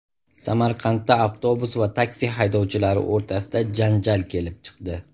Samarqandda avtobus va taksi haydovchilari o‘rtasida janjal kelib chiqdi.